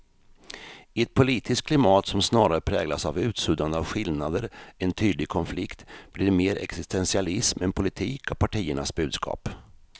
I ett politiskt klimat som snarare präglas av utsuddande av skillnader än tydlig konflikt blir det mer existentialism än politik av partiernas budskap.